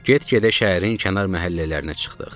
Get-gedə şəhərin kənar məhəllələrinə çıxdıq.